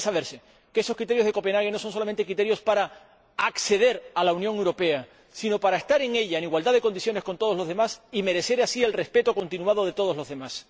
Porque debe saberse que esos criterios de Copenhague no son criterios solo para acceder a la Unión Europea sino también para estar en ella en igualdad de condiciones con todos los demás, y merecer así el respeto continuado de todos los demás.